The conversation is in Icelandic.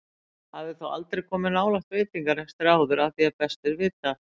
Hafði þó aldrei komið nálægt veitingarekstri áður að því er best var vitað.